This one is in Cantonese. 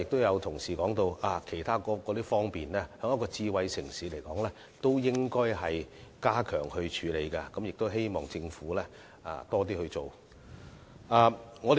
有同事剛才亦提到對於一個智慧城市來說，其他方面也應加強，希望政府能夠多做一點。